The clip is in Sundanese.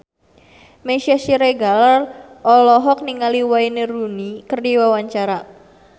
Meisya Siregar olohok ningali Wayne Rooney keur diwawancara